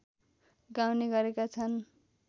गाउने गरेका छन्